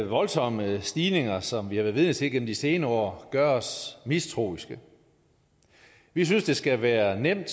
voldsomme stigninger som vi har været vidne til igennem de senere år gør os mistroiske vi synes det skal være nemt